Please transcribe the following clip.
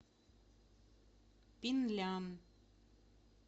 пинлян